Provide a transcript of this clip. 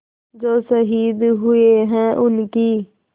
जो शहीद हुए हैं उनकी